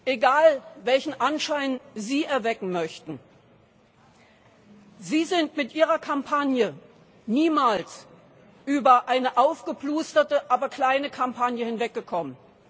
Egal, welchen Anschein Sie erwecken möchten, Sie sind mit Ihrer Kampagne niemals über eine aufgeplusterte, aber kleine Kampagne hinweggekommen.